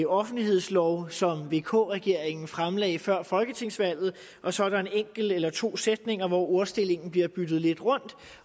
offentlighedslov som vk regeringen fremsatte før folketingsvalget og så er der en enkelt eller to sætninger hvor ordstillingen bliver byttet lidt rundt